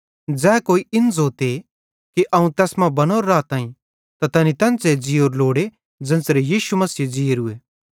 ज़ै कोई इन ज़ोते कि अवं तैस मां बनोरो राताईं त तैनी तेन्च़रे ज़ीयोरू लोड़े ज़ेन्च़रे यीशु मसीहे ज़ीयोरूए